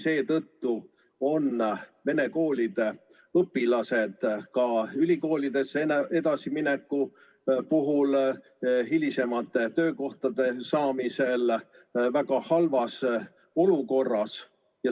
Seetõttu on vene õppekeelega koolide õpilased ka ülikoolidesse edasiminekul ja hiljem töökohtade saamisel väga halvas olukorras.